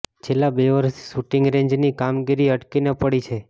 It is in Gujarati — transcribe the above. છેલ્લા બે વર્ષથી શુટિંગ રેન્જની કામગીરી અટકીને પડી છે